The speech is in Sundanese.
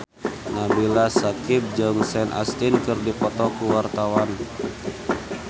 Nabila Syakieb jeung Sean Astin keur dipoto ku wartawan